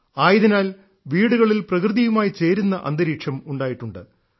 ആയതിനാൽ വീടുകളിൽ പ്രകൃതിയുമായി ചേരുന്ന അന്തരീക്ഷം ഉണ്ടായിട്ടുണ്ട്